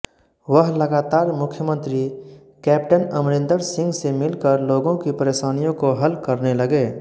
वह लगातार मुख्यमंत्री कैप्टन अमरिंदर सिंह से मिलकर लोगों की परेशानियों को हल करने लगे